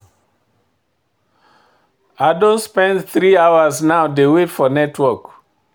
I don spend three hours now dey wait for network.